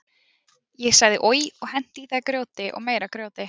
Ég sagði oj og henti í þær grjóti og meira grjóti.